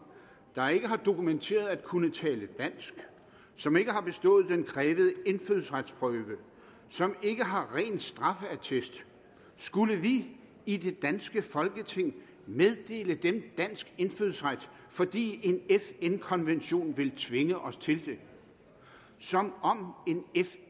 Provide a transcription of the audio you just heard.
der ikke har dokumenteret at kunne tale dansk som ikke har bestået den krævede indfødsretsprøve som ikke har ren straffeattest skulle vi i det danske folketing meddele dem dansk indfødsret fordi en fn konvention vil tvinge os til det som om